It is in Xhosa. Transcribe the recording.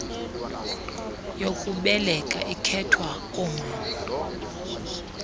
yokubeleka ikhethwayo koomama